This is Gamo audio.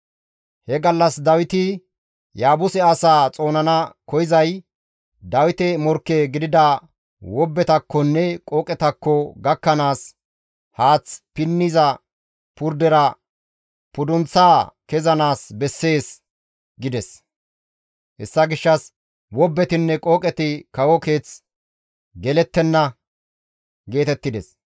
He gallas Dawiti, «Yaabuse asaa xoonana koyzay, Dawite morkke gidida wobbetakkonne qooqetakko gakkanaas haath pinniza purdera pudunththaa kezanaas bessees» gides; hessa gishshas, «Wobbetinne qooqeti kawo keeth gelettenna» geetettides.